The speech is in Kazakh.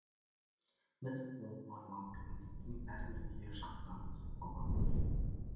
біз ол бауырларымыздың бәріне күйе жағудан аулақпыз